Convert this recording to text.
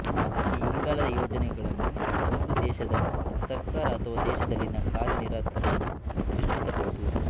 ಈ ಇಂಗಾಲದ ಯೋಜನೆಗಳನ್ನು ಒಂದು ದೇಶದ ಸರ್ಕಾರ ಅಥವಾ ದೇಶದಲ್ಲಿನ ಕಾರ್ಯನಿರತರು ಸೃಷ್ಟಿಸಬಹುದು